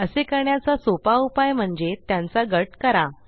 असे करण्याचा सोपा उपाय म्हणजे त्यांचा गट करा